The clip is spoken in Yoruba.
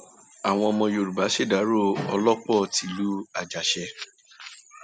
àwọn ọmọ yorùbá ṣèdàrọ olòpó tìlú àjàṣe